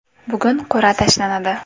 Bugun qur’a tashlanadi.